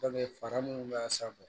fara minnu b'a sanfɛ